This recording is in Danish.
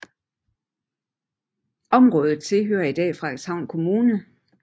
Området tilhører i dag Frederikshavn Kommune